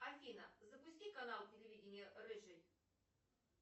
афина запусти канал телевидения рыжий